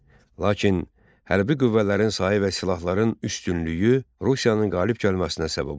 Lakin hərbi qüvvələrin sayı və silahların üstünlüyü Rusiyanın qalib gəlməsinə səbəb oldu.